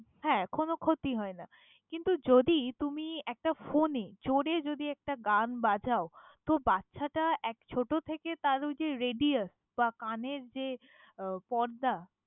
হ্যাঁ, কোনো ক্ষতি হয় না। কিন্তু, যদি তুমি একটা phone এ জোরে যদি একটা গান বাজাও, তো বাচ্ছাটা এক~ ছোট থেকে তার ওই যে radius বা কানের যে আহ পর্দা।